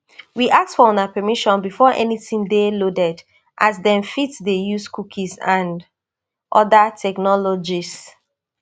we ask for una permission before anytin dey loaded as dem fit dey use cookies and oda technologies